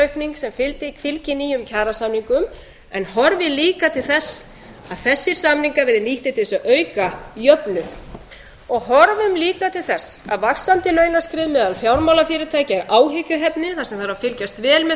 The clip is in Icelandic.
aukning sem fylgi nýjum kjarasamningum en horfi líka til þess að þessir samningar verði nýttir til þess að auka jöfnuð horfum líka til þess að vaxandi launaskrið meðal fjármálafyrirtækja er áhyggjuefni þar sem þarf að fylgjast vel með